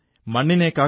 രസമുള്ള കാര്യമല്ലേ